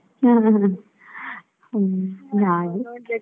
ಹ್ಮ್ ಹ್ಮ್ ಹ್ಮ್ ಹಾಗೆ.